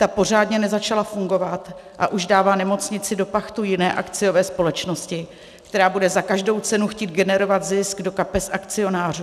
Ta pořádně nezačala fungovat, a už dává nemocnici do pachtu jiné akciové společnosti, která bude za každou cenu chtít generovat zisk do kapes akcionářů.